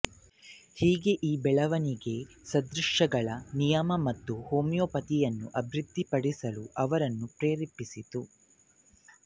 ಹೀಗೆ ಈ ಬೆಳವಣಿಗೆ ಸದೃಶಗಳ ನಿಯಮ ಮತ್ತು ಹೋಮಿಯೋಪತಿಯನ್ನು ಅಭಿವೃದ್ಧಿಪಡಿಸಲು ಅವರನ್ನು ಪ್ರೇರೇಪಿಸಿತು